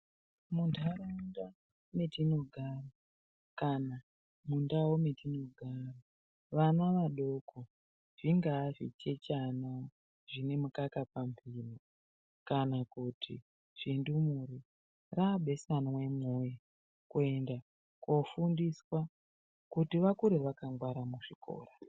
Muntaraunda metinogara kana mundau metinogara, vana vadoko, zvingaa zvichechana zvine mukaka pambiro kana kuti zvindumure. Raabeswana imwi woye kuenda koofundiswa kuti vakure vakangwara muzvikora.